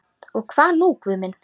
Og hvað nú Guð minn?